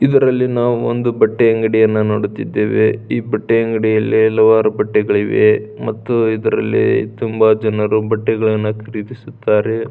ಇದರಲ್ಲಿ ನಾವು ಒಂದು ಬಟ್ಟೆಅಂಗಡಿಯನ್ನು ನೋಡುತ್ತಿದ್ದೇವೆ ಈ ಬಟ್ಟೆ ಅಂಗಡಿಯಲ್ಲಿ ಹಲವಾರು ಬಟ್ಟೆಗಳಿವೆ ಮತು ಇದರಲ್ಲಿ ತುಂಬಾ ಜನರು ಬಟ್ಟೆಗಳನ್ನು ಖರೀದಿಸುತ್ತಾರೆ.